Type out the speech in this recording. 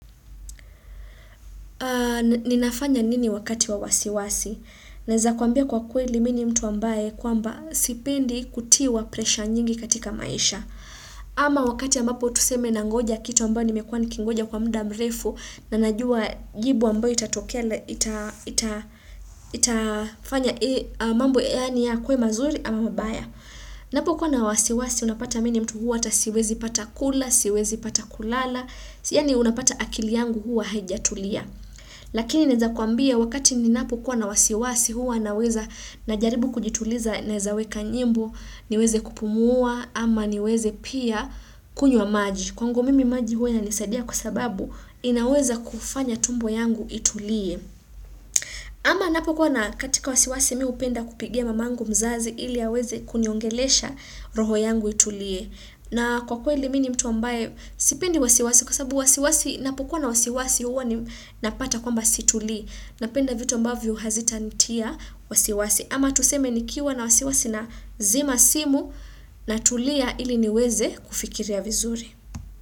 Ninafanya nini wakati wa wasiwasi. Naeza kuambia kwa kweli mi ni mtu ambaye kwamba sipendi kutiwa presha nyingi katika maisha. Ama wakati ambapo tuseme nangoja kitu ambayo nimekuwa nikingoja kwa muda mrefu na najua jibu ambayo itatokea itafanya mambo yaani yakuwe mazuri ama mabaya. Napokuwa na wasiwasi unapata mi ni mtu huwa hata siwezi pata kula, siwezi pata kulala, yaani unapata akili yangu huwa haijatulia. Lakini naeza kuambia wakati ninapokuwa na wasiwasi huwa naweza najaribu kujituliza naeza weka nyimbo niweze kupumua ama niweze pia kunywa maji. Kwangu mimi maji huwa inanisadia kwa sababu inaweza kufanya tumbo yangu itulie. Ama napo kuwa na katika wasiwasi mi hupenda kupigia mamangu mzazi ili aweze kuniongelesha roho yangu itulie. Na kwa kweli mi ni mtu ambaye, sipendi wasiwasi kwa sabu wasiwasi napukuwa na wasiwasi huwa napata kwamba situlii. Napenda vitu ambavyo hazitanitia wasiwasi ama tuseme nikiwa na wasiwasi nazima simu natulia ili niweze kufikiria vizuri.